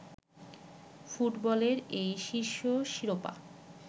ফুটবলের এই শীর্ষ শিরোপা